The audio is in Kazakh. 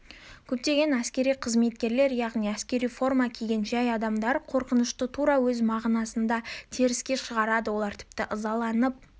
көптеген әскери қызметкерлер яғни әскери форма киген жай адамдар қорқынышты тура өз мағынасында теріске шығарады олар тіпті ызаланып